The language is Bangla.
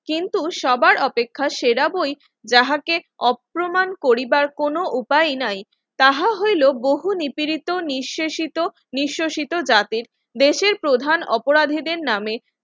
কিন্তু সবার অপেক্ষা সেরা বই যাহাকে অপমান করিবার কোন উপায় নাই তাহা হইলো বহু নিপীড়িত নিঃশেষিত নিঃশেষিত জাতির দেশের প্রধান অপরাধীদের নামে